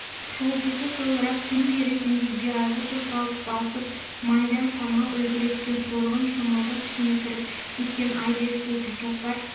шолпысы сылдырап түн перісіндей биязы қозғалып басып майда самал үлбіреткен торғын шымылдық ішіне кіріп кеткен айдай сұлу тәкаппар